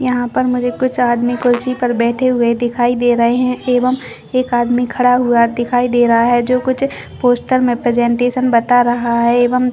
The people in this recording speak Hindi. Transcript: यहाँ पर मुझे कुछ आदमी कुर्सी पे बैठे हुए दिखाई दे रहे है एवं एक आदमी खड़ा हुआ दिखाई दे रहा है जो कुछ पोस्टर मे प्रेजेंटेशन बता रहा है एवं--